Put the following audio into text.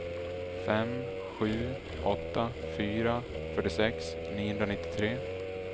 fem sju åtta fyra fyrtiosex niohundranittiotre